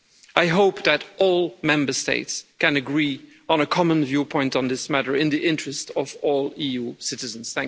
I hope that all Member States can agree on a common viewpoint on this matter in the interest of all EU citizens.